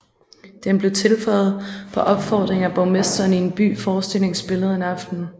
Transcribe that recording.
Den blev tilføjet på opfordring af borgmesteren i en by forestillingen spillede en aften